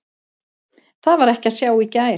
Það var ekki að sjá í gær.